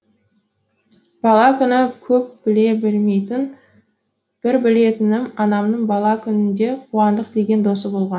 бала күні көп біле бермеймін бір білетінім анамның бала күнінде қуандық деген досы болған